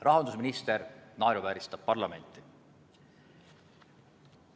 Rahandusminister naeruvääristab parlamenti.